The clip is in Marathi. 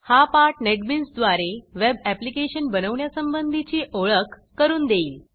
हा पाठ नेटबीन्सद्वारे वेब ऍप्लिकेशन बनवण्यासंबंधीची ओळख करून देईल